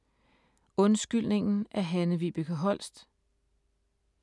Undskyldningen af Hanne-Vibeke Holst